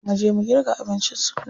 Mu je mu girka abincin suna.